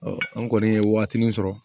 an kɔni ye waatinin sɔrɔ